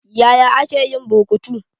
Yaya ake yin burkutu?